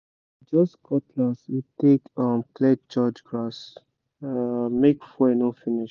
na just cutlass we take um clear church grass—make fuel no finish